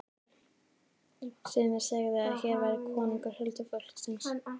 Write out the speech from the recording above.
Sumir segðu að hér væri konungur huldufólksins.